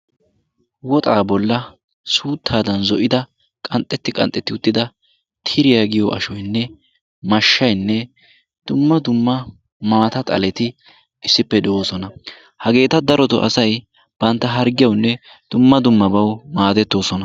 woxxa bolla suuttadan zo'ida qanxxeti qanxxeti uttida tiriya giyo ashoynne mashshaynne issippe de'oosona. hageeta daroto asay bantta harggiyaawunne dumma dummabaw maaddettoosona.